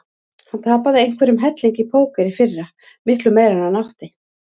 Hann tapaði einhverjum helling í póker í fyrra, miklu meira en hann átti.